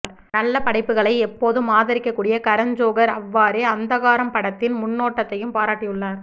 நல்ல படைப்புகளை எப்போதும் ஆதரிக்க கூடிய கரண் ஜோகர் அவ்வாறே அந்தகாரம் படத்தின் முன்னோட்டத்தையும் பாராட்டியுள்ளார்